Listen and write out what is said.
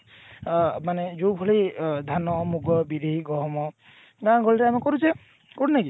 ଅ ମାନେ ଯୋଉଭଳି ଅ ଧାନ ମୁଗ ବିରି ଗହମ ଗାଁ ଗହଳି ରେ ଆମେ କରୁଛେ କରୁନେ କି